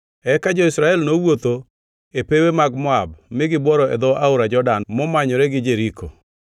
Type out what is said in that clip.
Eka jo-Israel nowuotho e pewe mag Moab mi gibworo e dho Aora Jordan momanyore gi Jeriko.